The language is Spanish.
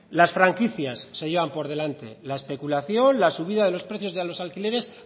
las franquicias se llevan por delante la especulación la subida de los precios de los alquileres